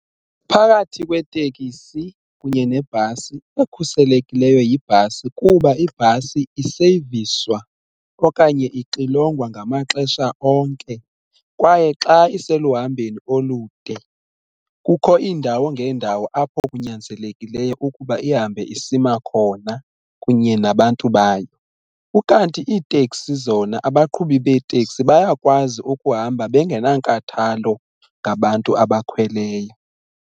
Phakathi kweteksi kunye nebhasi ekhuselekileyo yibhasi kuba ibhasi iseyiviswa okanye ixilongwa ngamaxesha onke kwaye xa iseluhambeni olude kukho iindawo ngeendawo apho kunyanzelekileyo ukuba ihambe isima khona kunye nabantu bayo. Ukanti iiteksi zona abaqhubi beeteksi bayakwazi ukuhamba bengenankathalo ngabantu abakhweleyo.